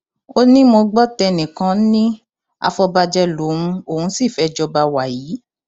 ó ní mo gbọ tẹnìkan ní àfọbàjẹ lòun òun sì fẹẹ jọba wàyí